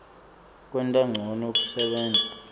kwenta ncono kusebenta